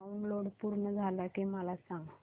download पूर्ण झालं की मला सांग